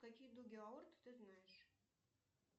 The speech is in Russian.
какие дуги аорт ты знаешь